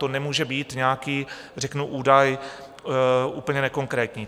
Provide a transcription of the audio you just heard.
To nemůže být nějaký řeknu údaj úplně nekonkrétní.